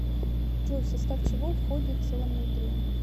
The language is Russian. джой в состав чего входит целомудрие